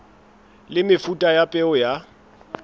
le mefuta ya peo ya